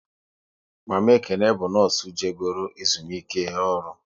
Mama Ekene bụ nọọsụ je goro ezumike ọrụ